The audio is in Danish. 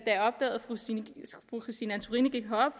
fru christine antorini gik herop